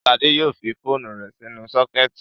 Ṣadé yóò fi phone rẹ̀ sínú sọ́kẹ́tì.